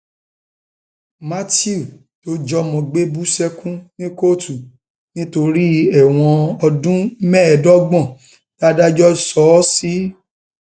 matthew tó um jọmọ gbé bú sẹkùn ní kóòtù nítorí ẹwọn ọdún mẹẹẹdọgbọn tàdájọ sọ ọ sí um